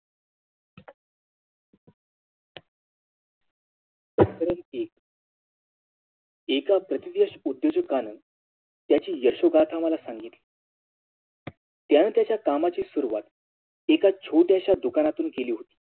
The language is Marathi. एका प्रतिष्टीत उध्योजगान त्याची यशोगाथा मला सांगितली त्याने त्याच्या कामाची सुरुवात एका छोट्याश्या दुकानातून केली होती